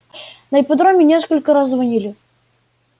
на ипподроме несколько раз звонили